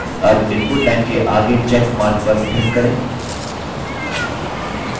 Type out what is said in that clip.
अब input line के आगे check mark पर click करें